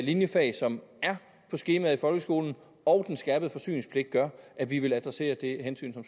linjefag som er på skemaet i folkeskolen og den skærpede forsyningspligt gør at vi vil adressere det hensyn som